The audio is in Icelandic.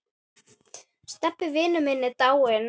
Stebbi vinur minn er dáinn.